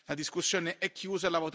La discussione è chiusa.